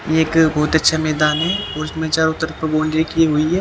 ये एक बहुत अच्छा मैदान है और इसमें चारों तरफ बाउंड्री की हुई है--